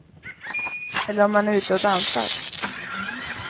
Eller om man är ute och dansar.